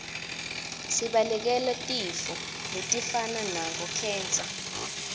sibalekele tifo letifana nabo khensa